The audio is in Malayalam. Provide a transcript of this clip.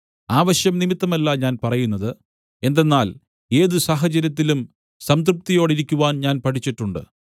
ആവശ്യം നിമിത്തമല്ല ഞാൻ പറയുന്നത് എന്തെന്നാൽ ഏത് സാഹചര്യത്തിലും സംതൃപ്തിയോടിരിക്കുവാൻ ഞാൻ പഠിച്ചിട്ടുണ്ട്